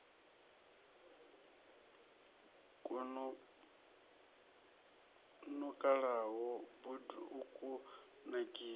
kwo nukalaho bud u kunakisa